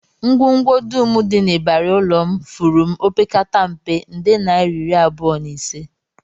Ngwongwo dum dị n'ịbarị ụlọ m furu m opekata mpe, nde naira iri abụọ na ise